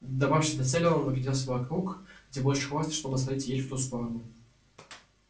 добравшись до цели он огляделся вокруг высматривая где больше хвороста чтобы свалить ель в ту сторону